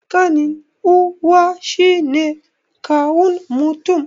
Ƙanin uwa shine kawun mutum